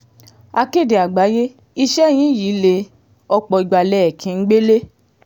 akéde àgbáyé iṣẹ́ yín yìí lé ọ̀pọ̀ ìgbà lẹ̀ ẹ́ kí n gbélé